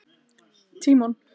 Tímon